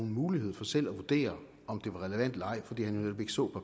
mulighed for selv at vurdere om det var relevant eller ej fordi han netop ikke så